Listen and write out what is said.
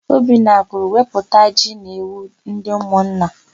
Obinna kwuru, "wepụta ji na ewu ndị ụmụnna"!